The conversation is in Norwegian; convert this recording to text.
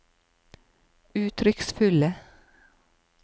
uttrykksfulle